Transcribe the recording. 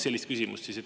Kaks küsimust.